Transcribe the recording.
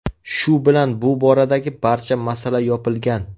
Shu bilan bu boradagi barcha masala yopilgan.